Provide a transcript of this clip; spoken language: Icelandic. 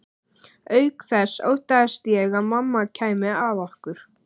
Auk þess óttaðist ég að mamma kæmi að okkur.